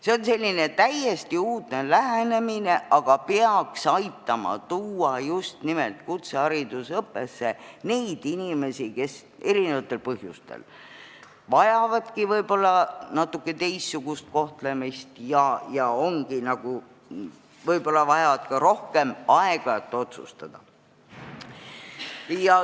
See on selline täiesti uudne lähenemine, aga peaks aitama tuua kutseharidusõppesse just nimelt neid inimesi, kes mitmesugustel põhjustel vajavadki võib-olla natuke teistsugust kohtlemist ja võib-olla ka rohkem aega, et otsustada.